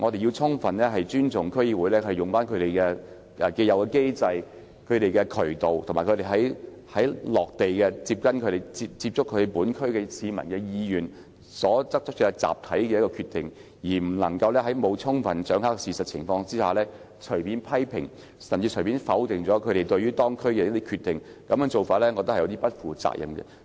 我們應尊重區議員透過既有機制或渠道，以及他們親自接觸區內市民，根據他們的意願得出的集體決定，而不應在沒有充分掌握事實的情況下，隨便作出批評，甚至否定他們對該區作出的一些決定，我認為這樣做不負責任。